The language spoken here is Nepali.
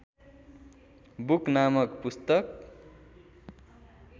बुक नामक पुस्तक